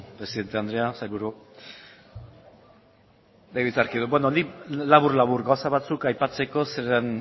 presidente andrea sailburuok legebiltzarkideok beno nik labur labur gauza batzuk aipatzeko zeren